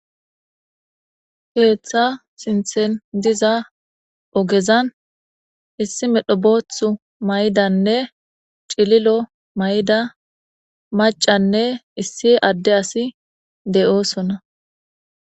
keeththa sinthen diza ogezan issi medho boothu maydanne cililo may7ida macanne issi adde asi de7oosona